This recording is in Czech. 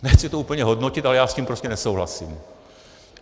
Nechci to úplně hodnotit, ale já s tím prostě nesouhlasím.